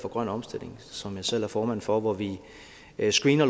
for grøn omstilling som jeg selv er formand for hvor vi screener